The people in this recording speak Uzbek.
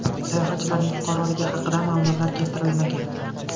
Sayohatchilarning fuqaroligi haqida ma’lumotlar keltirilmagan.